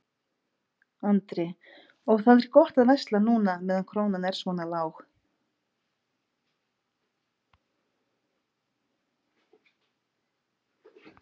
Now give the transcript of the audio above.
Andri: Og það er gott að versla núna meðan krónan er svona lág?